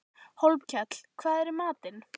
Hólmkell, hvað er í matinn?